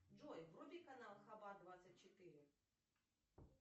джой вруби канал хаба двадцать четыре